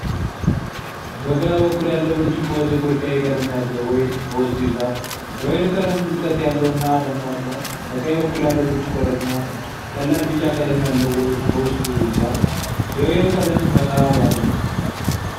በግራ በኩል ያለው ብርጭቆ ጥቁር ቀይ ቀለም ያለው ወይን በውስጡ ይዟል። የወይኑ ቀለም ጥልቀት ያለው እና ደማቅ ነው። በቀኝ በኩል ያለው ብርጭቆ ደግሞ ቀላል ቢጫ ቀለም ያለው ወይን በውስጡ ይዟል። የወይኑ ቀለም ፈካ ያለ ነው።